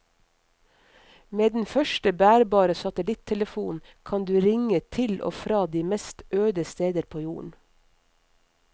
Med den første bærbare satellittelefonen kan du ringe til og fra de mest øde steder på jorden.